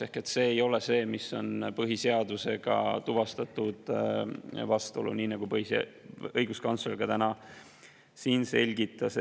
See ei tuvastatud põhiseadusega vastuolude hulka, nii nagu õiguskantsler ka täna siin selgitas.